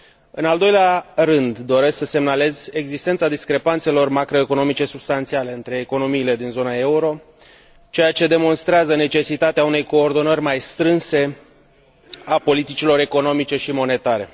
În al doilea rând, doresc să semnalez existența discrepanțelor macroeconomice substanțiale între economiile din zona euro, ceea ce demonstrează necesitatea unei coordonări mai strânse a politicilor economice și monetare.